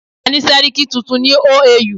A ti ni sẹ́ríkí tuntun ni OAU.